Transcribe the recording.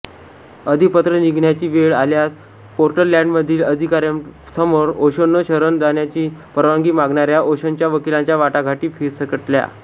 अधिपत्र निघण्याची वेळ आल्यास पोर्टलॅंडमधील प्राधिकाऱ्यांसमोर ओशोंना शरण जाण्याची परवानगी मागणाऱ्या ओशोंच्या वकिलांच्या वाटाघाटी फिसकटल्या